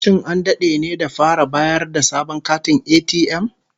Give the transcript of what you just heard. Shin an dade ne da fara bayar da sabon katin ATM?